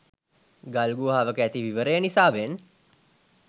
ගල්ගුහාවක ඇති විවරය නිසාවෙන්